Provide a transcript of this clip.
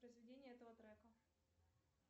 произведение этого трека